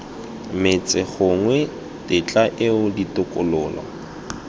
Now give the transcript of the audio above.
metsi gongwe tetla eo ditokololo